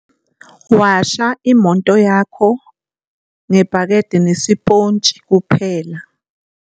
Washa imoto yakho ngebhakede nesiphontshi kuphela.